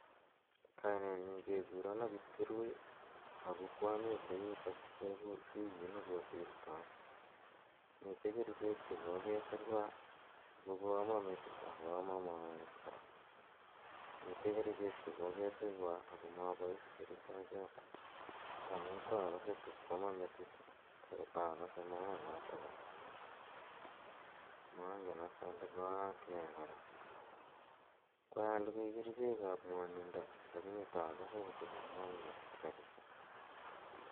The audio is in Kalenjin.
"Kainen nyu kekurenan Kiklpkirui ako ko amite yutok wikit ne ko sirtai, mitei kerichek che kokesirwa ako ko ama metit ak ko ama maet kora. Mitei kerichek che kokesirwa ako mapais kerichechotok amu taa kase tako ama metit ako taa kase maanotok kora. Mangen as ale koaak nee kora. Ko alugui kerichek ap mwanindo lakini akase ko tukomwan metit kapisa."